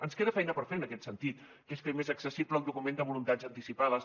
ens queda feina per fer en aquest sentit que és fer més accessible el document de voluntats anticipades